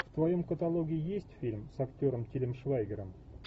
в твоем каталоге есть фильм с актером тилем швайгером